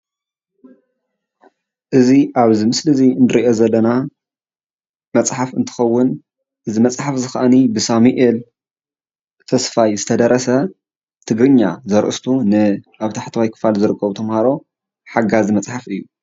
እዚ ኣብዚ ምስሊ እንሪኦ ዘለና መፅሓፍ እንትከውን እዚ መፅሓፍ ከዓኒ ብሳሚኤል ተስፋይ ዝተደረሰ ትግርኛ ዘርእስቱ ንኣብ ታሕተዋይ ክፋል ዝርከቡ ተምሃሮ ሓጋዚ መፅሓፍ እዩ፡፡